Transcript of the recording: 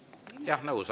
Jah, nõus.